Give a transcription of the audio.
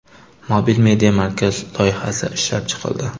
Mobil media markaz loyihasi ishlab chiqildi.